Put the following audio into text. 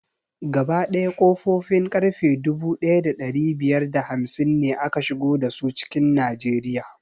Gaba ɗaya ƙofofin ƙarfe dubu ɗaya da ɗari biyar da hamsin ne aka shigo dasu cikin najeriya